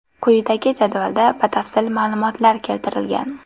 Quyidagi jadvalda batafsil ma’lumotlar keltirilgan.